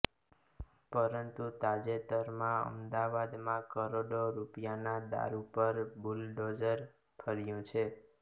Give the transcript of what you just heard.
પરંતુ તાજેતરમાં અમદાવાદમાં કરોડો રૂપિયાના દારૂ પર બુલડોઝર ફર્યુ છે